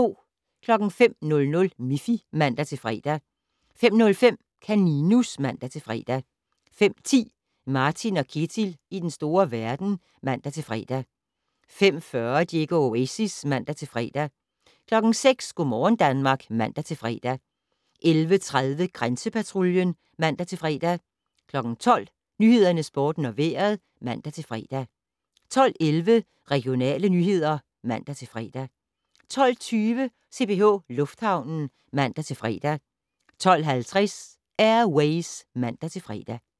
05:00: Miffy (man-fre) 05:05: Kaninus (man-fre) 05:10: Martin & Ketil i den store verden (man-fre) 05:40: Diego Oasis (man-fre) 06:00: Go' morgen Danmark (man-fre) 11:30: Grænsepatruljen (man-fre) 12:00: Nyhederne, Sporten og Vejret (man-fre) 12:11: Regionale nyheder (man-fre) 12:20: CPH Lufthavnen (man-fre) 12:50: Air Ways (man-fre)